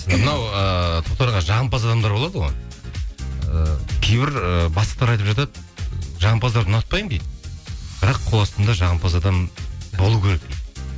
мынау ыыы тоқтар аға жағымпаз адамдар болады ғой ы кейбір ы бастықтар айтып жатады жағымпаздарды ұнатпаймын дейді бірақ қол астымда жағымпаз адам болу керек дейді